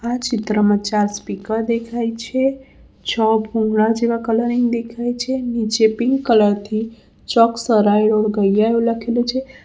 આ ચિત્રમાં ચાર સ્પીકર દેખાય છે છ ભૂરા જેવા કલરિંગ દેખાય છે નીચે પિંક કલર થી ચોક સરાઈ રોડ ગૈયા એવુ લખેલુ છે.